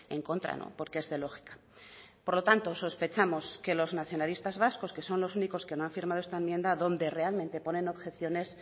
en contra porque es de lógica por lo tanto sospechamos que los nacionalistas vascos que son los únicos que no han firmado esta enmienda donde realmente ponen objeciones